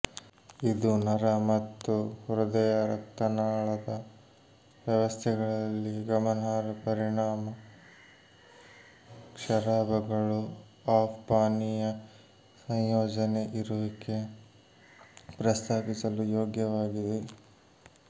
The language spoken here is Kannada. ಇದು ನರ ಮತ್ತು ಹೃದಯರಕ್ತನಾಳದ ವ್ಯವಸ್ಥೆಗಳಲ್ಲಿ ಗಮನಾರ್ಹ ಪರಿಣಾಮ ಕ್ಷಾರಾಭಗಳು ಆಫ್ ಪಾನೀಯ ಸಂಯೋಜನೆ ಇರುವಿಕೆ ಪ್ರಸ್ತಾಪಿಸಲು ಯೋಗ್ಯವಾಗಿದೆ